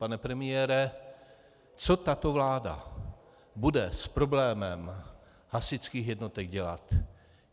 Pane premiére, co tato vláda bude s problémem hasičských jednotek dělat?